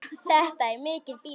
Það er mikið býli.